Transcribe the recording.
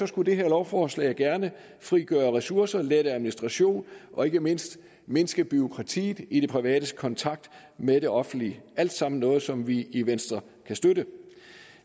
skulle det her lovforslag gerne frigøre ressourcer lette administration og ikke mindst mindske bureaukratiet i det privates kontakt med det offentlige det alt sammen noget som vi i venstre kan støtte